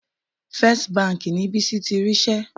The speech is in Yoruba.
First Bank ni Bísí ti rí iṣẹ́.